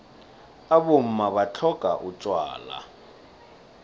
abomma batlhodlha utjwala